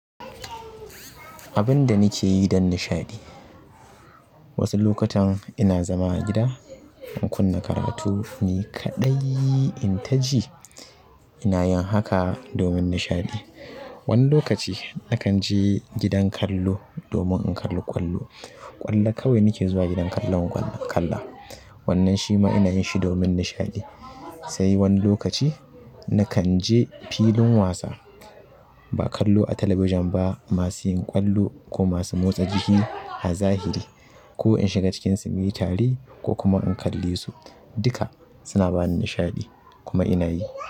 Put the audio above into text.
Abin da nike yi don nishaɗi. Wasu lokutan ina zama a gida in kunna karatu. Ni kaɗai in taji, ina yin haka domin nishaɗi. Wani lokaci nakan je gidan kallo domin in kalla ƙwallo. Ƙwallo kawai nake zuwa gidan kallon ƙwallo in kalla. Wannan shi ma ina yin shi domin nishaɗi. Sai wani lokaci nakan je filin wasa ba kallo a talabijin ba, masu yin ƙwallo ko masu motsa jiki a zahiri ko in shiga cikinsu muyi tare ko kuma in kalle su duka suna bani nishaɗi kuma ina yi.